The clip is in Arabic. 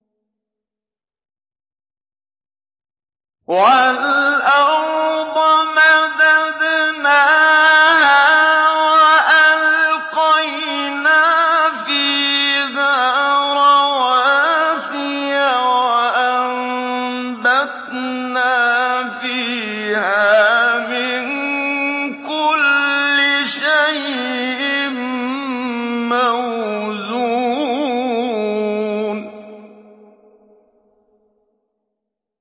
وَالْأَرْضَ مَدَدْنَاهَا وَأَلْقَيْنَا فِيهَا رَوَاسِيَ وَأَنبَتْنَا فِيهَا مِن كُلِّ شَيْءٍ مَّوْزُونٍ